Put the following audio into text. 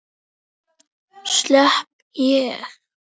Slepp ég?